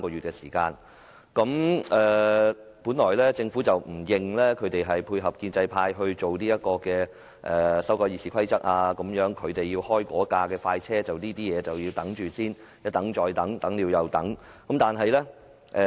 政府本來不承認此舉是為了配合建制派修改《議事規則》——為了開該部快車，其他事宜唯有一等再等，等了又等。